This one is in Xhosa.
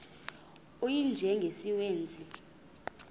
u y njengesiwezi